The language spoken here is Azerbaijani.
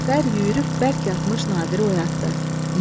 Cəfər yürüyüb bərk yatmış Nadiri oyatdı.